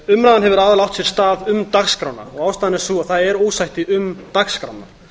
umræðan hefur aðallega átt sér stað um dagskrána ástæðan er sú að það er ósætti um dagskrána